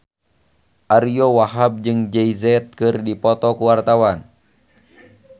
Ariyo Wahab jeung Jay Z keur dipoto ku wartawan